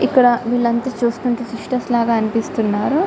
ఇక్కడ వీలంతా చూస్తుంటే క్రిస్టియన్స్ లాగా అనిపిస్తున్నారు